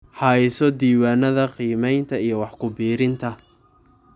Hayso diiwaanada qiimaynta iyo wax ku biirinta